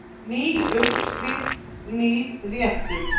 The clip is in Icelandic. Ný uppskrift, nýr réttur.